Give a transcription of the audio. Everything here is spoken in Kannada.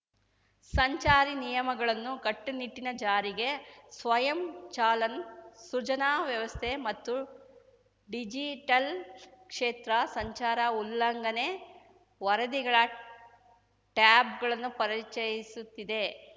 ಸಂಚಾರಿ ನಿಯಮಗಳನ್ನು ಕಟ್ಟುನಿಟ್ಟಿನ ಜಾರಿಗೆ ಸ್ವಯಂ ಚಲನ್‌ ಸೃಜನಾ ವ್ಯವಸ್ಥೆ ಮತ್ತು ಡಿಜಿಟಲ್‌ ಕ್ಷೇತ್ರ ಸಂಚಾರ ಉಲ್ಲಂಘನೆ ವರದಿಗಳ ಟ್ಯಾಬ್‌ಗಳನ್ನು ಪರಿಚಯಿಸುತ್ತಿದೆ